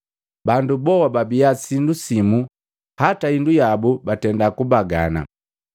Bandu boa babia sindu simu hata hindu yabu batenda kubagana.